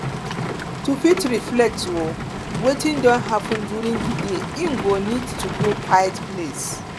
to fit reflect o wetin don happen during di day im go need to go quiet place